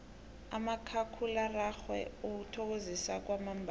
umakhakhulararhwe uthokozisa kwamambala